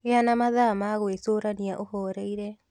Gĩa na mathaa ma gwĩcũrania ũhoreire